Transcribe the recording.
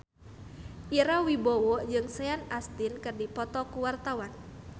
Ira Wibowo jeung Sean Astin keur dipoto ku wartawan